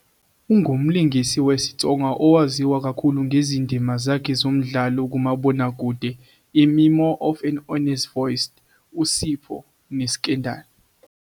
Ungumlingisi wesiTsonga owaziwa kakhulu ngezindima zakhe kumdlalo kamabonakude "iMemoir of an Honest Voice", "uSipho" "neScandal!."